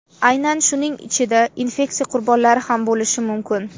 Aynan shuning ichida infeksiya qurbonlari ham bo‘lishi mumkin.